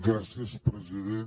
gràcies president